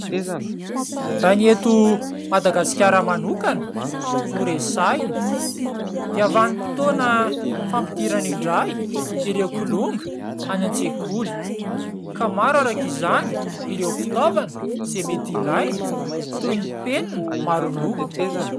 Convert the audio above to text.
Raha ny eto Madagasikara manokana no resahina dia vanim-potoana fampidirana indray ireo kilonga any an-tsekoly ka maro araka izany ireo fitaovana izay mety ilaina toy ny penina maro loko.